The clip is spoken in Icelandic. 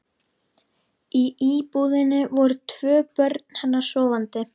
Í íbúðinni voru tvö börn hennar sofandi.